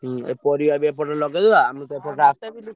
ହୁଁ ଏ ପରିବା ବି ଏପଟେ ଲଗେଇଦବା।